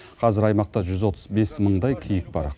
қазір аймақта жүз отыз бес мыңдай киік бар